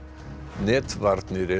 netvarnir eru